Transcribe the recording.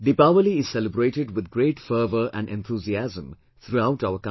Deepawali is celebrated with great fervor and enthusiasm throughout our country